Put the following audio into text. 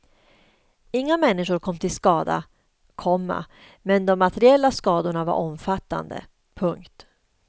Inga människor kom till skada, komma men de materiella skadorna var omfattande. punkt